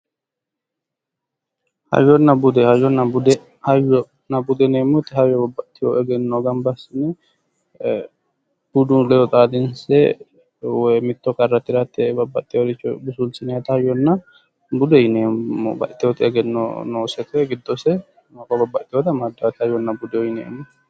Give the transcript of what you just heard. Hayyonna bude, hayyonna bude yineemotti hayyo babbaxinno egennoyi gabba assinne budu ledo xaadinse woy mitto qarra tiratte babbaxoyoricho busulsinayiitta hayyonna bude yineemo. babaxitoyooti egeno noose woy gidose maqo babbaxitoyoti amadanotta hayyonna bude yineemo.